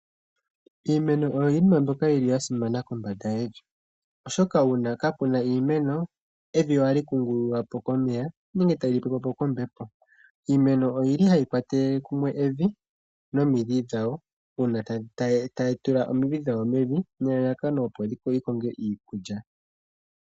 Iimeno oyo iinima mbyoka yi li ya simana kombanda yevi oshoka uuna kaapuna iimeno evi ohali kungululwa po komeya nenge tali pepwa po kombepo. Iimeno oyi li hayi kwatele kumwe evi nomidhi dhawo uuna tayi tula omidhi dhawo mevi nelalakano opo yi konge iikulya.